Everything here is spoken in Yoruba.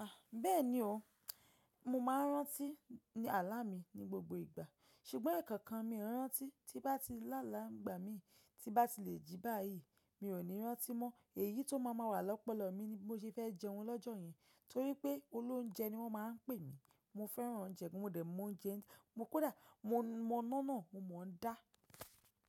Ah! Bẹ́ẹ̀ni o, mo máa ń rántí ààlà mi ní gbogbo ìgbà. Ṣugbọ́n ẹ̀ẹ̀kan kan mi ò rántí tí bá ti láalà n gbà mi, tí bá ti le jí báyìí mi ò ní rántí mọ́. Èyí tó máa máa wà lọ́pọ̀lọpọ̀ mi ni bi mo ṣe fẹ́ jẹun lọ́jọ́ yẹn, torí pé olóunjẹ ni wọ́n máa ń pè mi. Mo fẹ́ràn oúnjẹ, mo dẹ̀ mọ oúnjẹ, mo kó dáa, mo mọ ina náà, mo mọ o dá.